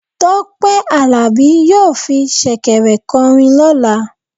Tope alabi yọọ fí shekèrè korin lola.